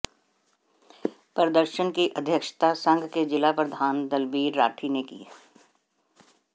प्रदर्शन की अध्यक्षता संघ के जिला प्रधान दलबीर राठी ने की